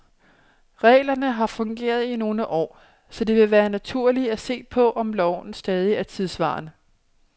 Reglerne har fungeret i nogle år, så det vil være naturligt at se på, om loven stadig er tidsvarende.